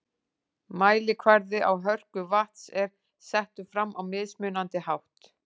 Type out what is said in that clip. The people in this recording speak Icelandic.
Mælikvarði á hörku vatns er settur fram á mismunandi hátt.